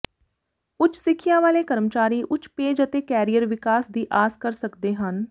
ਉੱਚ ਸਿੱਖਿਆ ਵਾਲੇ ਕਰਮਚਾਰੀ ਉੱਚ ਪੇਜ ਅਤੇ ਕੈਰੀਅਰ ਵਿਕਾਸ ਦੀ ਆਸ ਕਰ ਸਕਦੇ ਹਨ